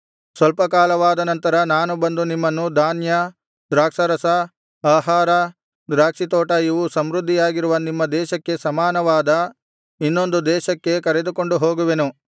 ಸ್ವಲ್ಪ ಕಾಲವಾದ ನಂತರ ನಾನು ಬಂದು ನಿಮ್ಮನ್ನು ಧಾನ್ಯ ದ್ರಾಕ್ಷಾರಸ ಆಹಾರ ದ್ರಾಕ್ಷಿತೋಟ ಇವು ಸಮೃದ್ಧಿಯಾಗಿರುವ ನಿಮ್ಮ ದೇಶಕ್ಕೆ ಸಮಾನವಾದ ಇನ್ನೊಂದು ದೇಶಕ್ಕೆ ಕರೆದುಕೊಂಡು ಹೋಗುವೆನು